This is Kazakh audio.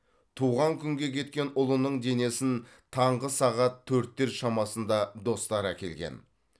туған күнге кеткен ұлының денесін таңғы сағат төрттер шамасында достары әкелген